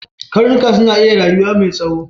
Karnuka suna iya rayuwa mai tsoho.